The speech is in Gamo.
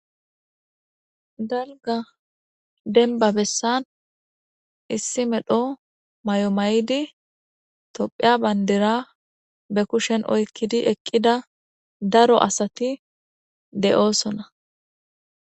dalga denba bessan issi medho mayo maydi tophiya bandira be kushen oykkidi eqqida daro asati de'oosona